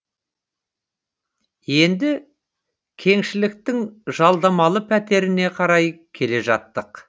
енді кеңшіліктің жалдамалы пәтеріне қарай келе жаттық